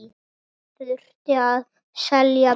Næst þurfti að selja bílinn.